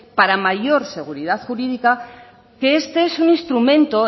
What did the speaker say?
para mayor seguridad jurídica que este es un instrumento